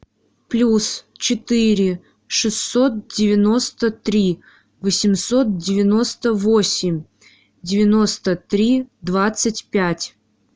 плюс четыре шестьсот девяносто три восемьсот девяносто восемь девяносто три двадцать пять